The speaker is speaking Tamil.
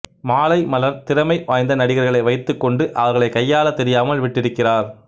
மாலைமலர் திறமை வாய்ந்த நடிகர்களை வைத்துக் கொண்டு அவர்களை கையாளத் தெரியாமல் விட்டிருக்கிறார்